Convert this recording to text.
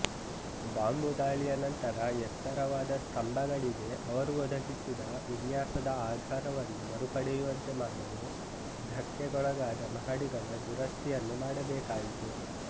ಬಾಂಬುದಾಳಿಯ ನಂತರ ಎತ್ತರವಾದ ಸ್ತಂಬಗಳಿಗೆ ಅವರು ಒದಗಿಸಿದ ವಿನ್ಯಾಸದ ಆಧಾರವನ್ನು ಮರುಪಡೆಯುವಂತೆಮಾಡಲು ಧಕ್ಕೆಗೊಳಗಾದ ಮಹಡಿಗಳ ದುರಸ್ತಿಯನ್ನು ಮಾಡಬೇಕಾಯಿತು